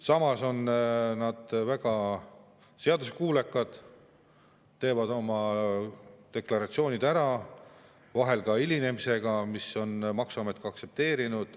Samas on väga seaduskuulekad, teevad oma deklaratsioonid ära, vahel ka hilinemisega, mida maksuamet on aktsepteerinud.